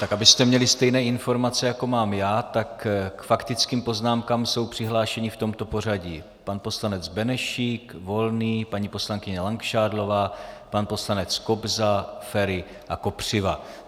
Tak abyste měli stejné informace, jako mám já, tak k faktickým poznámkám jsou přihlášeni v tomto pořadí pan poslanec Benešík, Volný, paní poslankyně Langšádlová, pan poslanec Kobza, Feri a Kopřiva.